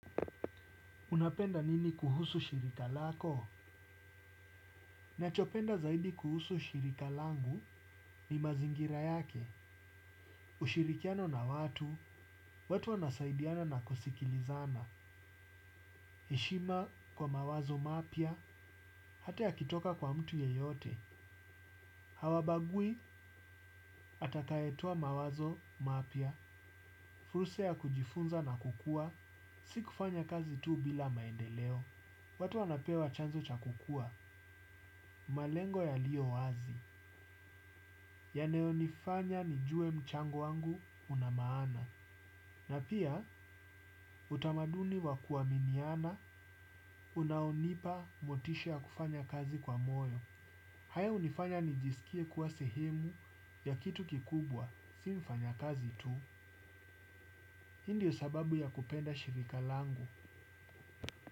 Unapenda nini kuhusu shirika lako? Ninachopenda zaidi kuhusu shirika langu ni mazingira yake. Ushirikiano na watu, watu wanasaidiana na kusikilizana. Heshima kwa mawazo mapya, hata yakitoka kwa mtu yeyote. Hawabagui atakayetoa mawazo mapya. Fursa ya kujifunza na kukua. Si kufanya kazi tu bila maendeleo. Watu wanapewa chanzo cha kukua. Malengo yaliyo wazi. Yanayonifanya nijue mchango wangu una maana na pia utamaduni wa kuaminiana unaonipa motisha ya kufanya kazi kwa moyo. Haya hunifanya nijisikie kuwa sehemu ya kitu kikubwa si mfanyakazi tu hii ndiyo sababu ya kupenda shirika langu.